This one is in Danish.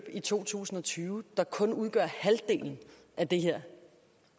i to tusind og tyve der kun udgør halvdelen af det